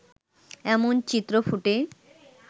এমন চিত্র ফুটে